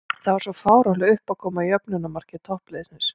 Það var svo fáránleg uppákoma í jöfnunarmarki toppliðsins.